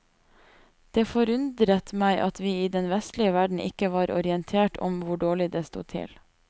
Det forundret meg at vi i den vestlige verden ikke var orientert om hvor dårlig det sto til.